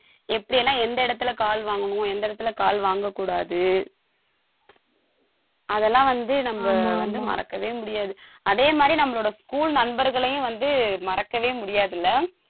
எப்படி எல்லாம் எந்த இடத்துல கால் வாங்கணும் எந்த இடத்துலகால் வாங்கக் கூடாது அதெல்லாம் வந்து நம்ம வந்து மறக்கவே முடியாது. அதே மாதிரி நம்மளோட school நண்பர்களையும் வந்து மறக்கவே முடியாதுல்ல